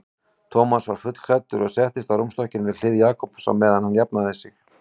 Thomas var fullklæddur og settist á rúmstokkinn við hlið Jakobs á meðan hann jafnaði sig.